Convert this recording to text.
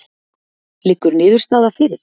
Liggur niðurstaða fyrir?